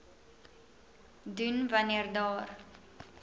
doen wanneer daar